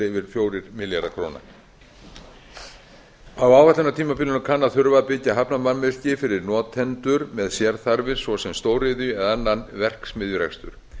yfir fjórir milljarðar króna á áætlunartímabilinu kann að þurfa að byggja hafnarmannvirki fyrir notendur með sérþarfir svo sem stóriðju eða annan verksmiðjurekstur